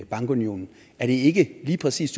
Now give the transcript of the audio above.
bankunionen er det ikke lige præcis